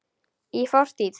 Í fortíð!